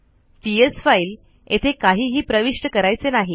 PS file येथे काहीही प्रविष्ट करायचे नाही